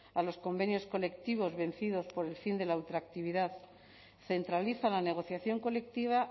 a los convenios colectivos vencidos por el fin de la ultraactividad centraliza la negociación colectiva